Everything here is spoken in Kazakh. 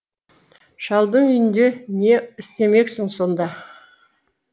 шалдың үйінде не істемексің сонда